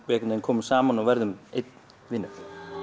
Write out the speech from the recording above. einhvern veginn komum saman og verðum einn vinur